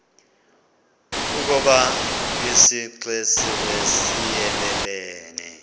ukoba isixesibe siyelelene